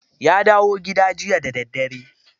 Ya dawo gida jiya da dare?